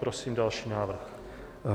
Prosím další návrh.